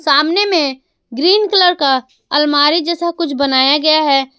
सामने में green colour का अलमारी जैसा कुछ बनाया गया है।